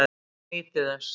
Helgi nýtur þess.